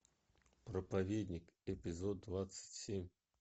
проповедник эпизод двадцать семь